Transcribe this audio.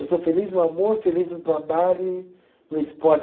Eu sou feliz no amor, feliz no trabalho e no esporte.